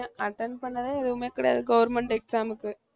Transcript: attend பண்ணதே எதுவுமே கிடையாது government exam க்கு